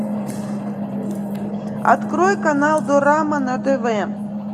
открой канал дорама на тв